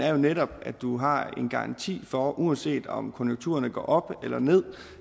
jo netop at du har en garanti for uanset om konjunkturerne går op eller ned